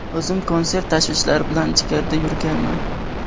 O‘zim konsert tashvishlari bilan ichkarida yurganman.